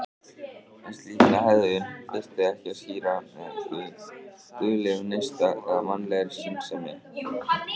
En slíka hegðun þyrfti ekki að skýra með guðlegum neista eða mannlegri skynsemi.